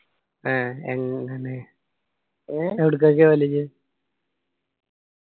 അഹ് എന്തണ് എവിടകൊക്കെയാ പൊവ്വല് ഇജ്ജ്